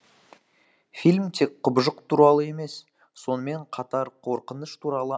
фильм тек құбыжық туралы емес сонымен қатар қорқыныш туралы